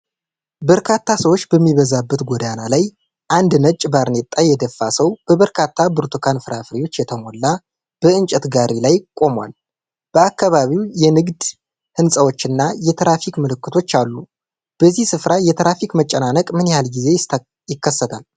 በርካታ ሰዎች በሚበዛበት ጎዳና ላይ፣ አንድ ነጭ ባርኔጣ የደፋ ሰው በበርካታ ብርቱካን ፍራፍሬዎች የተሞላ በእንጨት ጋሪ ላይ ቆሟል፣ በአካባቢው የንግድ ህንጻዎችና የትራፊክ ምልክቶች አሉ፣ በዚህ ስፍራ የትራፊክ መጨናነቅ ምን ያህል ጊዜ ይከሰታል?